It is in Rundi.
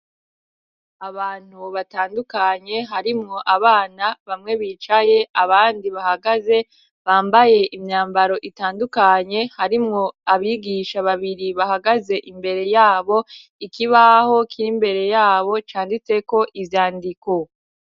Abantu batandukanye harimwo abana, bamwe bicaye abandi bahagaze, bambaye imyambaro itandukanye harimwo abigisha babiri bahagaze imbere yabo. Ikibaho kiri mbere yabo canditseko ivyandiko.